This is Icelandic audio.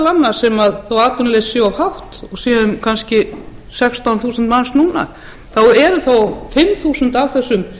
annars sem þó að atvinnuleysið sé of hátt og sé um kannski sextán þúsund manns núna þá eru þó fimm þúsund af þessum